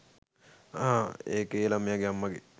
අහ් ඒක ඒ ලමයගේ අම්මගේ